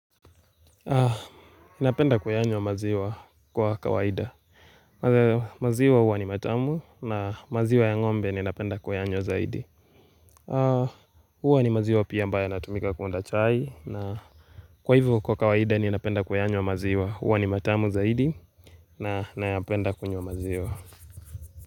Napenda kuyanywa maziwa kwa kawaida kwa hivyo maziwa huwa ni matamu na maziwa ya ng'ombe ninapenda kuyanywa zaidi huwa ni maziwa pia ambayo yanatumika kuunda chai na kwa hivo kwa kawaida ninapenda kuyanywa maziwa huwa ni matamu zaidi na nayapenda kunywa maziwa.